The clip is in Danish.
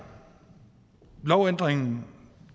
lovændringen